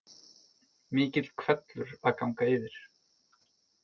Mikill hvellur að ganga yfir